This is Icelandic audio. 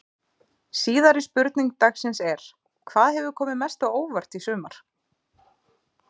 Síðari spurning dagsins er: Hvað hefur komið mest á óvart í sumar?